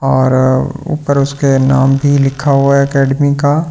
और ऊपर उसके नाम भी लिखा हुआ है अकैडमी का --